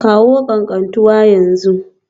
Kawo Katantanwa a yanzu